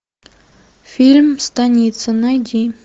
фильм станица найди